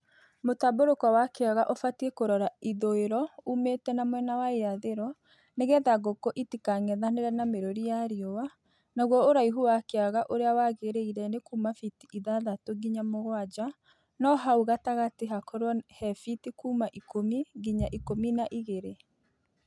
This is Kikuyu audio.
Mũtambũrũko wa kĩaga ubatiĩ kũrora ithũĩrwo ũmĩte na mwena wa irathĩrwo nĩgetha ngũkũ itikang'ethanĩre na mĩrũri ya riũa naguo ũraihu wa kĩaga ũrĩa wagĩrĩire nĩ kuma biti ithatatũ nginya mũgwanja no hau gatagatĩ hakorwo he biti kuma ikũmi nginya ikũmi na igĩrĩ.